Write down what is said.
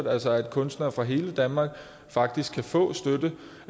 altså at kunstnere fra hele danmark faktisk kan få støtte